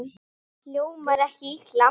Hljómar ekki illa.